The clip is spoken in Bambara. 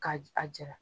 Ka a jira